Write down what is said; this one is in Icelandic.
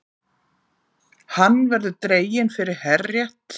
Hann verður dreginn fyrir herrétt